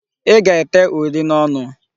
Ị ga-ete uri n'ọnụ!